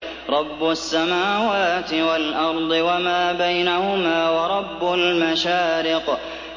رَّبُّ السَّمَاوَاتِ وَالْأَرْضِ وَمَا بَيْنَهُمَا وَرَبُّ الْمَشَارِقِ